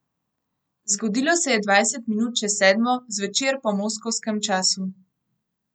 Zgodilo se je dvajset minut čez sedmo zvečer po moskovskem času.